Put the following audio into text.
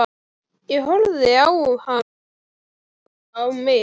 Ég horfði á hana horfa á mig.